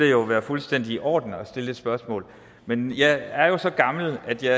jo være fuldstændig i orden at stille det spørgsmål men jeg er jo så gammel at jeg